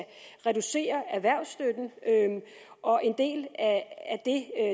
reduceres og en del af det er